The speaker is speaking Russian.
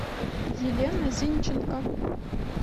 елена зинченко